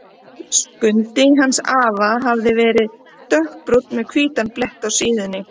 Skundi hans afa hafði verið dökkbrúnn með hvítan blett á síðunni.